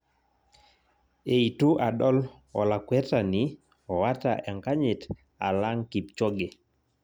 Eitu adol olakwetani oota enkanyit alang' Kipchoge